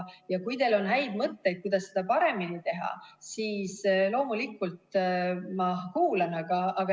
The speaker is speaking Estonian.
Kui teil on häid mõtteid, kuidas seda paremini teha, siis loomulikult ma kuulan.